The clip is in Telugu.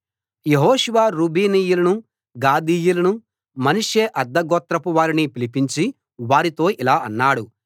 యెహోషువ రూబేనీయులను గాదీయులను మనష్షే అర్థగోత్రపు వారిని పిలిపించి వారితో ఇలా అన్నాడు